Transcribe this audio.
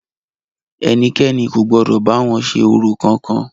Ẹnikẹ́ni kò gbọdọ̀ bá wọn ṣe orò kankan!